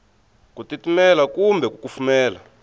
ku titimela kumbe ku kufumela